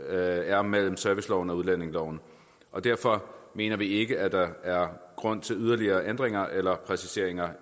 er mellem serviceloven og udlændingeloven og derfor mener vi ikke at der er grund til yderligere ændringer eller præciseringer